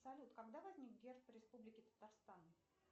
салют когда возник герб республики татарстан